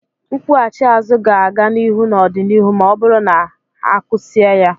Nkwughachi azụ ga-aga n'ihu n'ọdịnihu ma ọ bụrụ na ha kusii ya.